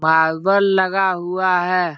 मालबल लगा हुआ है।